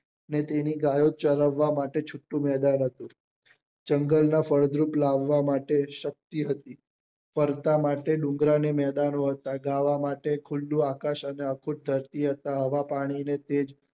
ને તેની ગાયો ચરવવા માટે છુટું મેદાન હતું જંગલ માં ફળદ્રુપ લાવવા માટે શક્તિ હતી ફરતા માટે ડુંગરા ને મેદાનો હતા ગાવા માટે ખુલ્લું આકાશ અને આંખો હવા પાણી ને તેજ